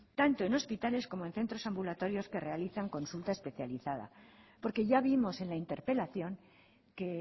tanto en hospitales como en centros ambulatorios que realizan consulta especializada porque ya vimos en la interpelación que